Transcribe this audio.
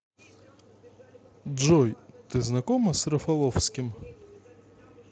джой ты знакома с рафаловским